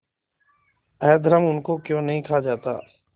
अधर्म उनको क्यों नहीं खा जाता